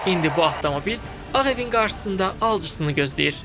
İndi bu avtomobil Ağ Evin qarşısında alıcısını gözləyir.